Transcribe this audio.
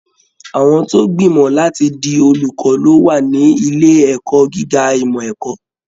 Àwọn tó gbimọ láti di olùkọ lo wà ní ilé ẹ̀kọ́ gíga ìmọ ẹ̀kọ́.